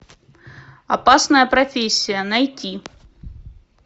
опасная профессия найти